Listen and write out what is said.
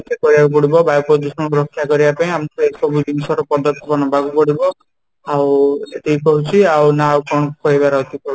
ଏତିକି କହିବାକୁ ପଡିବ ବାୟୁ ପ୍ରଦୂଷଣ ରକ୍ଷା କରିବା ପାଇଁ ଆମକୁ ଏଇ ସବୁ ଜିନିଷ ର ପଦକ୍ଷପ ନବାକୁ ପଡିବ ଆଉ ଏତିକି କହୁଛି ନା, ଆଉ କ'ଣ କହିବାର ଅଛି ?